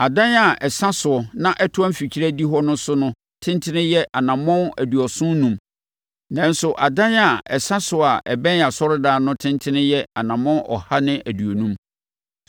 Adan a ɛsa soɔ na ɛtoa mfikyire adihɔ no so no tentene yɛ anammɔn aduɔson enum, nanso adan a ɛsa soɔ a ɛbɛn asɔredan no tentene yɛ anammɔn ɔha ne aduonum.